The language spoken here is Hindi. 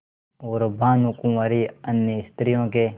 और भानुकुँवरि अन्य स्त्रियों के